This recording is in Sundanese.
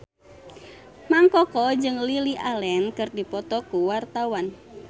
Mang Koko jeung Lily Allen keur dipoto ku wartawan